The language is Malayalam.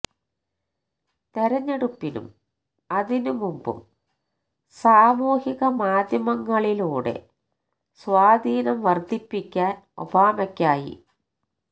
തെരഞ്ഞെടുപ്പിനും അതിന് മുമ്പും സാമൂഹിക മാധ്യങ്ങളിലൂടെ സ്വാധീനം വര്ദ്ധിപ്പിക്കാന് ഒബാമയ്ക്കായി